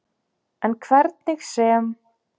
En hvernig sem